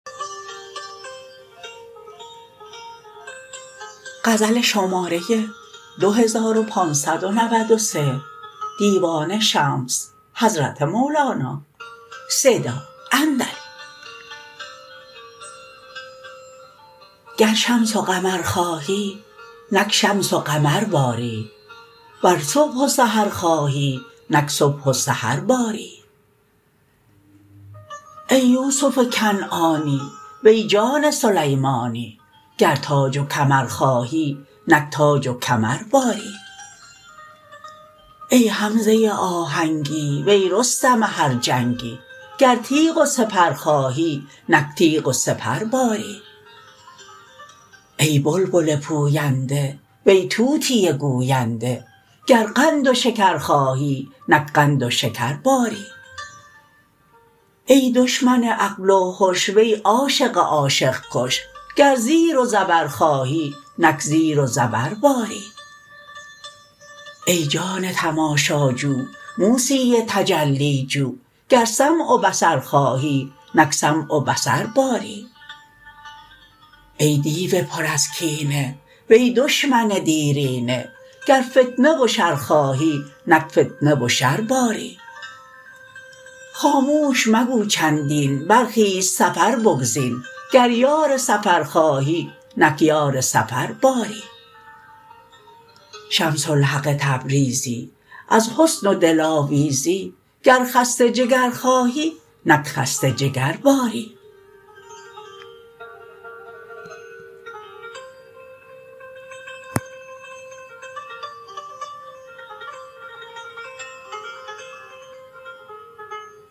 گر شمس و قمر خواهی نک شمس و قمر باری ور صبح و سحر خواهی نک صبح و سحر باری ای یوسف کنعانی وی جان سلیمانی گر تاج و کمر خواهی نک تاج و کمر باری ای حمزه آهنگی وی رستم هر جنگی گر تیغ و سپر خواهی نک تیغ و سپر باری ای بلبل پوینده وی طوطی گوینده گر قند و شکر خواهی نک قند و شکر باری ای دشمن عقل و هش وی عاشق عاشق کش گر زیر و زبر خواهی نک زیر و زبر باری ای جان تماشاجو موسی تجلی جو گر سمع و بصر خواهی نک سمع و بصر باری ای دیو پر از کینه وی دشمن دیرینه گر فتنه و شر خواهی نک فتنه و شر باری خاموش مگو چندین برخیز سفر بگزین گر یار سفر خواهی نک یار سفر باری شمس الحق تبریزی از حسن و دلاویزی گر خسته جگر خواهی نک خسته جگر باری